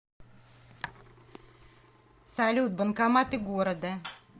салют банкоматы города